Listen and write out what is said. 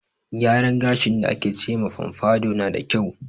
Gyaran gashin da ake ce ma fomfado na da kyau.